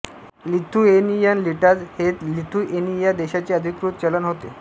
Lithuanian litas हे Lithuania देशाचे अधिकृत चलन होते